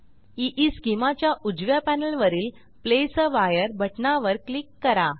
ईस्केमा च्या उजव्या पॅनेलवरील प्लेस आ वायर बटणावर क्लिक करा